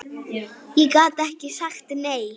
Ég gat ekki sagt nei.